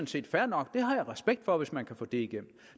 set fair nok det har jeg respekt for hvis man kan få det igennem